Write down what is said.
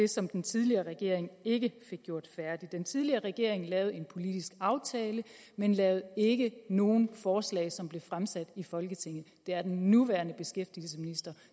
som den tidligere regering ikke fik gjort færdigt den tidligere regering lavede en politisk aftale men lavede ikke nogen forslag som blev fremsat i folketinget det er den nuværende beskæftigelsesminister